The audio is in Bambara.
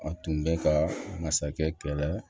A tun bɛ ka masakɛ kɛlɛ